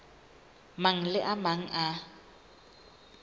mang le a mang a